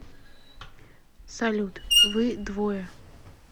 салют вы двое